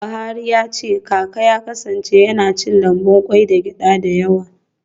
Buhari ya ce kaka ya kasance yana cin lambun kwai da gyada da yawa.